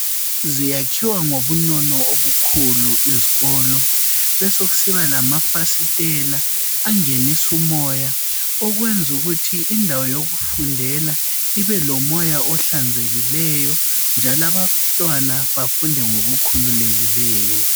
Zakhiwa ngobunono obukhulu izikolo. Besekusiba lamafasitela angenisa umoya okwenza ukuthi indawo yokufundela ibelomoya ohlanzekileyo njalo abantwana bafunde ngokukhululekileyo